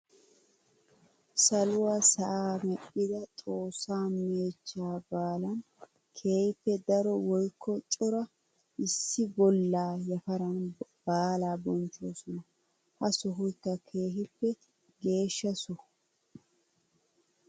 Saluwa sa'a medhidda xoosa meechcha baallan keeehippe daro woykko cora issi bolla yafaran baalla bonchchosonna. Ha sohoykka keehippe geeshsha soho.